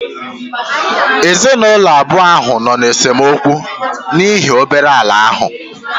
Ezinụlọ abụọ ahụ nọ n'esemokwu n'ihi obere ala ahụ